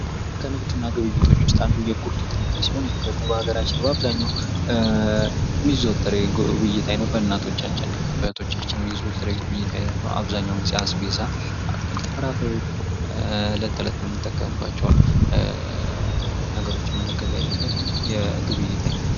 ከንግድና ግብይቶች ዉስጥ አንዱ የጉሊት ንግድ ሲሆን ይህ ደግሞ በአገራችን በአብዛኛዉ የሚዘወተር የግብይት አይነት በእናቶቻችን በእህቶቻችን የሚይዙት የግብይት አይነት ነዉ። አብዛኛዉን ጊዜ አስቬዛ አትክልትና ፍራፍሬዎች በብዛት የምንጠቀምባቸዉን ነገሮች የምንገበያይበት የግብይት አይነት ነዉ።